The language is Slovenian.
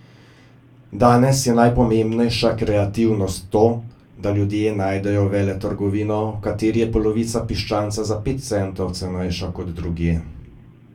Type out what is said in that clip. Danes je najpomembnejša kreativnost to, da ljudje najdejo veletrgovino, v kateri je polovica piščanca za pet centov cenejša kot drugje.